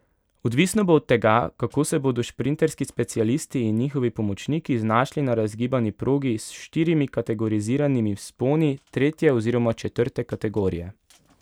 Odvisno bo od tega, kako se bodo šprinterski specialisti in njihovi pomočniki znašli na razgibani progi s štirimi kategoriziranimi vzponi tretje oziroma četrte kategorije.